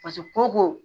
ko ko